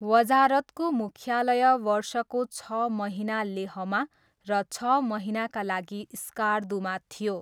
वजारतको मुख्यालय वर्षको छ महिना लेहमा र छ महिनाका लागि स्कार्दूमा थियो।